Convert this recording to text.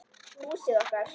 Húsið okkar.